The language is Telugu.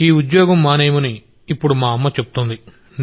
ఈ ఉద్యోగం మానేయమని ఇప్పుడు మా అమ్మ చెప్తోంది